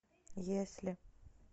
если